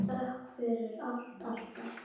Hafðu þökk fyrir allt, alltaf.